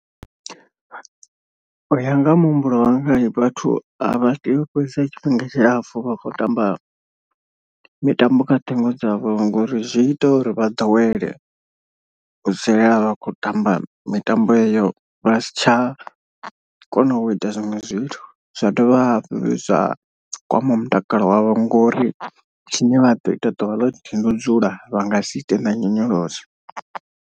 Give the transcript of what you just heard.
U ya nga ha muhumbulo wanga vhathu a vha tei u fhedzesa tshifhinga tshilapfu vha khou tamba mitambo kha ṱhingo dzavho. Ngori zwi ita uri vha ḓowele u dzulela vha khou tamba mitambo iyo vha si tsha kona u ita zwiṅwe zwithu. Zwa dovha hafhu zwa kwama mutakalo wavho ngori tshine vha ḓo ita ḓuvha ḽoṱhe ndi u dzula vha nga si ite na nyonyoloso.